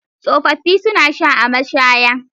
Tsofaffi suna sha a mashaya.